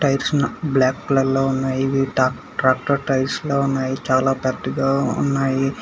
Tiles black colour లో ఉన్నాయి tractor tiles లో ఉన్నాయి చాలా గట్టిగా ఉన్నాయి.